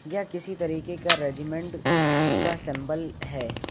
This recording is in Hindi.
यह किसी तरीके का रेजिमेंट का सेंबल है।